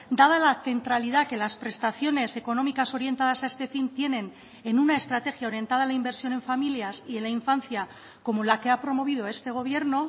dada la centralidad que las prestaciones económicas orientadas a este fin tienen en una estrategia orientada a la inversión en familias y en la infancia como la que ha promovido este gobierno